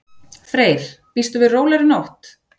Freyr: Býstu við rólegri nótt?